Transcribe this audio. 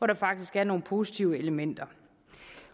der faktisk er nogle positive elementer